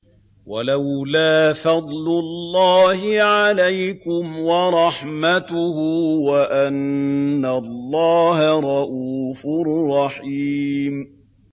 وَلَوْلَا فَضْلُ اللَّهِ عَلَيْكُمْ وَرَحْمَتُهُ وَأَنَّ اللَّهَ رَءُوفٌ رَّحِيمٌ